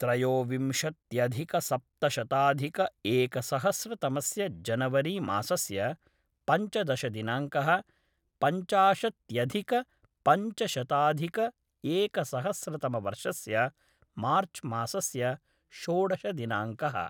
त्रयोविंशत्यधिकसप्तशताधिक एकसहस्रतमस्य जनवरी मासस्य पञ्चदशदिनाङ्कः पञ्चाशत्यधिक पञ्चशताधिकएकसहस्रतमवर्षस्य मार्च् मासस्य षोडशदिनाङ्कः